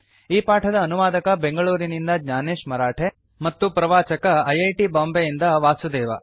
ಈ ಪಾಠದ ಅನುವಾದಕ ಬೆಂಗಳೂರಿನಿಂದ ಜ್ಞಾನೇಶ ಮರಾಠೆ ಮತ್ತು ಪ್ರವಾಚಕ ಐ ಐ ಟಿ ಬಾಂಬೆಯಿಂದ ವಾಸುದೇವ